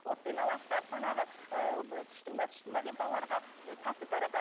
отпен аластап манағы ы тышты ма тышты ма деп балаларға тәтті таратады